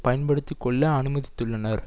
பயன்படுத்தி கொள்ள அனுமதித்துள்ளனர்